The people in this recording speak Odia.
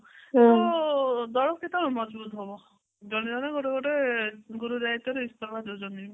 ତ ଦଳ କେତେବେଳେ ମଝଭୁତ ହବ ଜଣେ ଜଣେ ଗୋଟେ ଗୋଟେ ଗୁରୁ ଦାୟିତ୍ଵରୁ ଇସ୍ତଫା ଦଉଛନ୍ତି